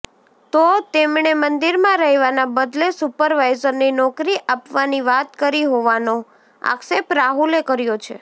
તો તેમણે મંદિરમાં રહેવાના બદલે સુપરવાઇજરની નોકરી આપવાની વાત કરી હોવાનો આક્ષેપ રાહુલે કર્યો છે